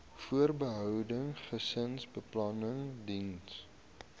voorbehoeding gesinsbeplanning diens